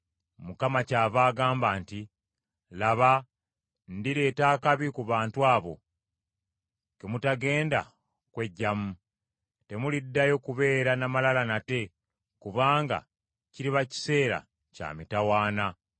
Mukama kyava agamba nti, “Laba, ndireeta akabi ku bantu abo, ke mutagenda kweggyamu. Temuliddayo kubeera n’amalala nate kubanga kiriba kiseera kya mitawaana.